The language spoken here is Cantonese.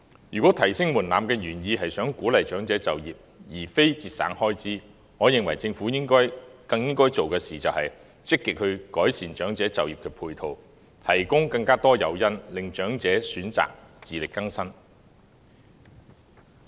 如果提升門檻的原意是想鼓勵長者就業，而非節省開支，我認為政府更應該做的事，就是積極改善長者就業的配套，提供更多誘因，令長者選擇自力更生。